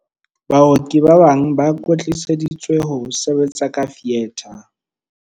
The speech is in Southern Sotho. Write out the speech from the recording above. Baoki ba bang ba kwetliseditswe ho sebetsa ka fietha.